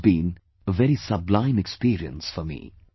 This has been a very sublime experience for me